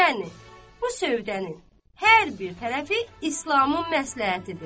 Yəni bu sövdənin hər bir tərəfi İslamın məsləhətidir.